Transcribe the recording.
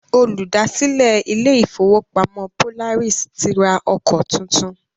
Olùdásílẹ̀ ilé ìfọwọ́pamo Polaris ti ra ọkọ tuntun.